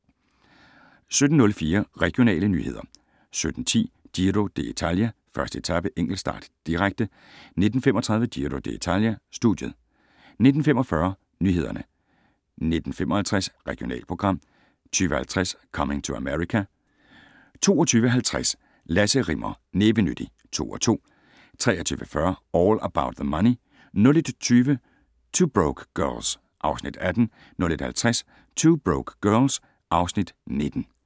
17:04: Regionale nyheder 17:10: Giro d´Italia: 1. etape - enkeltstart, direkte 19:35: Giro dItalia: Studiet 19:45: Nyhederne 19:55: Regionalprogram 20:50: Coming to America 22:50: Lasse Rimmer- Nævenyttig (2:2) 23:40: All About the Money 01:20: 2 Broke Girls (Afs. 18) 01:50: 2 Broke Girls (Afs. 19)